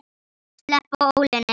Sleppa ólinni.